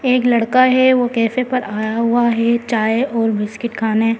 एक लड़का है वो कैफे पर आया हुआ है चाय और बिस्किट खाने।